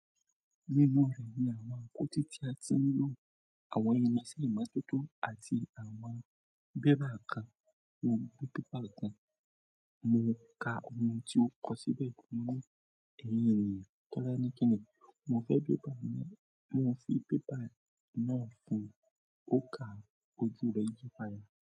Nínú rẹ̀ ni àwọn àkótí tí a ti ń lò, àwọn irinṣẹ́ ìmọ̀tótó àti àwọn bẹ́bà kan. Mo gbọ́ pépà kan, mo ka ohun tí ó kọ̀ síbẹ̀, mo ní "Ẹ̀yin ènìyàn, Tọ́lání kíní?" Mo fẹ́ pépà náà, mo fi pépà náà fún ọ̀kà ojú rẹ̀ yípa ya.